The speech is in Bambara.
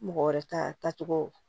Mɔgɔ wɛrɛ tacogo